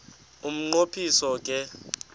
umnqo phiso ke